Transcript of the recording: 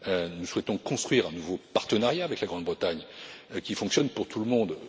Nous souhaitons construire un nouveau partenariat avec la Grande Bretagne qui fonctionne pour tout le monde.